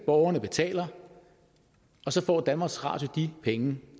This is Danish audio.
borgerne betaler og så får danmarks radio de penge